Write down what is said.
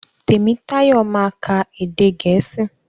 Tèmítáyọ̀ ma ka èdè gèésì.